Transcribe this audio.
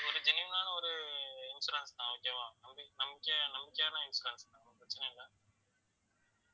ஒரு genuine ஆன ஒரு insurance தான் okay வா நம்~ நம்பிக்கை~ நம்பிக்கையான insurance தான் ஒண்ணும் பிரச்னை இல்ல